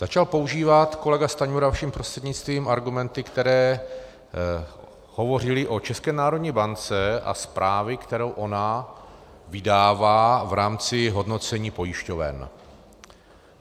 Začal používat kolega Stanjura vaším prostřednictvím argumenty, které hovořily o České národní bance a zprávě, kterou ona vydává v rámci hodnocení pojišťoven.